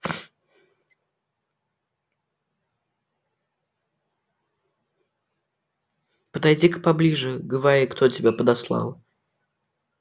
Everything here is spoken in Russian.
подойди-ка поближе говори кто тебя подослал